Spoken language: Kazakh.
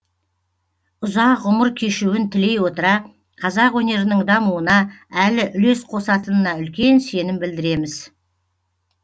ұзақ ғұмыр кешуін тілей отыра қазақ өнерінің дамуына әлі үлес қосатынына үлкен сенім білдіреміз